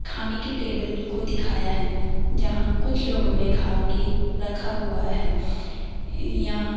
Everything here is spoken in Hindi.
खाने की टेबल को दिखाया है जहां कुछ लोगों ने खा के रखा हुआ है यहां --